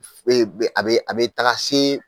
Eee be, a be a be taga se